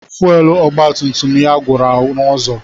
Fuwelu ọgba tum tum ya gwụrụ n'ụzọ.